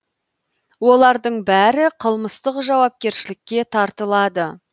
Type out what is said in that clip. олардың бәрі қылмыстық жауапкершілікке тартылады